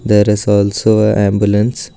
There is also a ambulance.